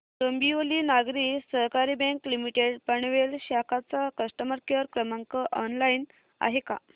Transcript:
Dombivli Nagari Sahakari bank limited Panvel शाखा चा customer care क्रमांक ऑनलाइन आहे का